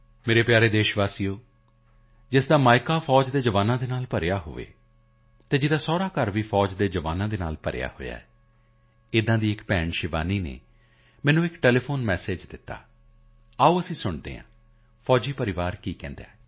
ਮੇਰੇ ਪਿਆਰੇ ਦੇਸ਼ਵਾਸੀਓ ਜਿਸ ਦਾ ਮਾਇਕਾ ਵੀ ਸੈਨਾ ਦੇ ਜਵਾਨਾਂ ਨਾਲ ਭਰਿਆ ਹੋਇਆ ਹੈ ਜਿਸ ਦਾ ਸਸੁਰਾਲ ਵੀ ਸੈਨਾ ਦੇ ਜਵਾਨਾਂ ਨਾਲ ਭਰਿਆ ਹੋਇਆ ਹੈ ਅਜਿਹੀ ਇੱਕ ਭੈਣ ਸ਼ਿਵਾਨੀ ਨੇ ਮੈਨੂੰ ਇੱਕ ਟੈਲੀਫੋਨ ਮੈਸੇਜ ਦਿੱਤਾ ਆਓ ਅਸੀਂ ਸੁਣਦੇ ਹਾਂ ਫੌਜੀ ਪਰਿਵਾਰ ਕੀ ਕਹਿੰਦਾ ਹੈ